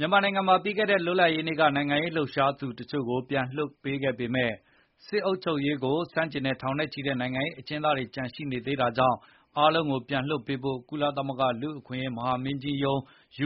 မြန်မာနိုင်ငံမှာ ပြီးခဲတဲ့လွတ်လပ်ရေးနေ့က နိုင်ငံရေးလှုပ်ရှားသူတချို့ကို ပြန်လည်လွှတ်ပေးခဲ့ပေမယ့်၊ စစ်အုပ်ချုပ်ရေးကို ဆန့်ကျင်တဲ့ ထောင်နဲ့ချီတဲ့နိုင်ငံရေး အကျဉ်းသားတွေ ကျန်ရှိနေသေးတာကြောင့်၊ အားလုံးကိုပြန်လွှတ်ပေးဖို့ ကုလသမဂ္ဂ လူ့အခွင့်အရေးမဟာမင်းကြီးရုံး